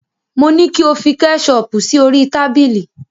Mo ní kí o fi kẹ́ṣọọ̀pù sí orí tábìlì.